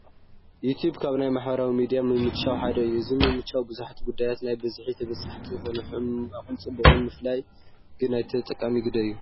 you tube ካብ ናይ ማሕበራዊ ሚድያ ምምችቻዋት ሓደ እዩ፡፡ ኣብዚ ምምችቻው ብዙሓት ጉዳያት ናብ ሕዝቢ ተበፃሕቲ ይኾኑ፡፡ ሕማቑን ፅቡቑን ምፍላይ ግን ናይቲ ተጠቃሚ ግደ እዩ፡፡